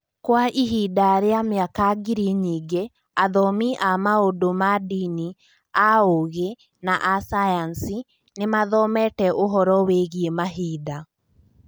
Kwa ihinda rĩa mĩaka ngiri nyingĩ, athomi a maũndũ ma ndini, a ũũgĩ, na a sayansi nĩ mathomete ũhoro wĩgiĩ mahinda.